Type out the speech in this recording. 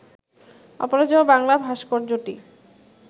অপরাজেয় বাংলা ভাস্কর্যটি